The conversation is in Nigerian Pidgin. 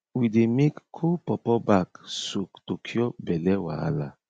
we dey make cold pawpaw bark soak to cure belly wahala